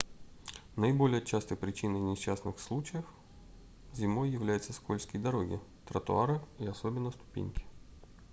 наиболее частой причиной несчастных случаев зимой являются скользкие дороги тротуары и особенно ступеньки